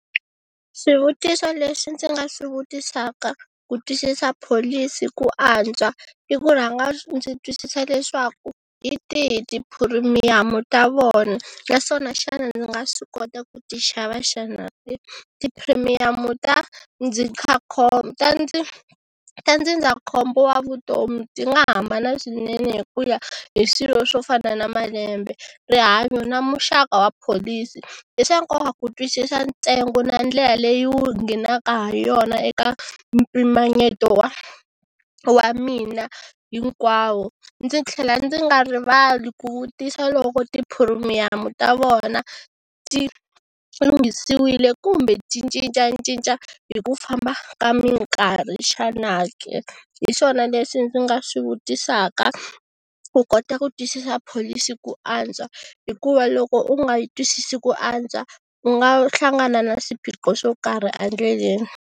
Swivutiso leswi ndzi nga swi vutisaka ku twisisa pholisi ku antswa i ku rhanga ndzi twisisa leswaku hi tihi tiphirimiyamu ta vona naswona xana ndzi nga swi kota ku ti xava xana tiphirimiyamu ta ta ndzi ta ndzindzakhombo wa vutomi ti nga hambana swinene hi ku ya hi swilo swo fana na malembe, rihanyo na muxaka wa pholisi, i swa nkoka ku twisisa ntsengo na ndlela leyi wu nghenaka ha yona eka mpimanyeto wa wa mina hinkwawo ndzi tlhela ndzi nga rivali ku vutisa loko tiphirimiyamu ta vona ti lunghisiwile kumbe ti cincacinca hi ku famba ka minkarhi xana ke, hi swona leswi ndzi nga swi vutisaka ku kota ku twisisa pholisi ku antswa hikuva loko u nga yi twisisi ku antswa u nga hlangana na swiphiqo swo karhi endleleni.